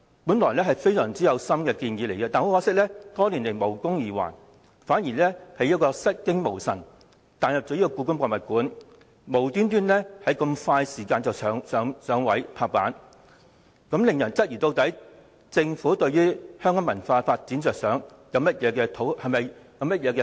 這些原本是相當有心思的建議，可惜爭取多年卻無功而還，反而突然出現故宮館項目，在極短時間內便"拍板"通過，令人質疑政府的目的是促進香港文化發展，還或只是想討好北京。